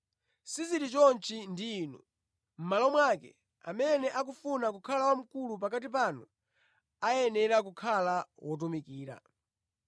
Sizili choncho ndi inu. Mʼmalo mwake, amene akufuna kukhala wamkulu pakati panu ayenera kukhala wotumikira,